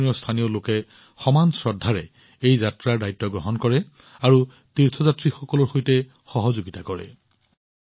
জম্মুকাশ্মীৰৰ স্থানীয় লোকে সমান শ্ৰদ্ধাৰে এই যাত্ৰাৰ দায়িত্ব গ্ৰহণ কৰে আৰু তীৰ্থযাত্ৰীসকলৰ সৈতে সহযোগিতা কৰে